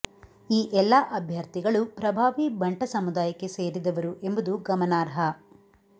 ಈ ಎಲ್ಲಾ ಅಭ್ಯರ್ಥಿಗಳು ಪ್ರಭಾವಿ ಬಂಟ ಸಮುದಾಯಕ್ಕೆ ಸೇರಿದವರು ಎಂಬುದು ಗಮನಾರ್ಹ